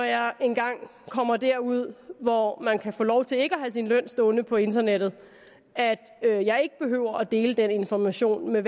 jeg engang kommer derud hvor man kan få lov til ikke at have sin løn stående på internettet at jeg ikke behøver at dele den information med